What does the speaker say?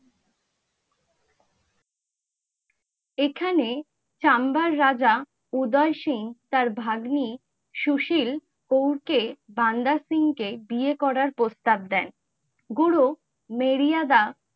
এখানে সাম্বার রাজা উদয় সিং তার ভাগ্নি সুশীল কৌর কে বান্দা সিং কে বিয়ে করার প্রস্তাব দেন, গুরু মর্যাদা